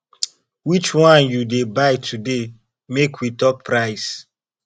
which one you dey buy today make we talk price